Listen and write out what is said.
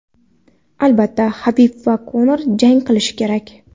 Albatta, Habib va Konor jang qilishi kerak.